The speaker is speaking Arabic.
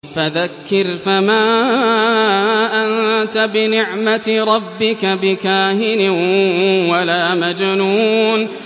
فَذَكِّرْ فَمَا أَنتَ بِنِعْمَتِ رَبِّكَ بِكَاهِنٍ وَلَا مَجْنُونٍ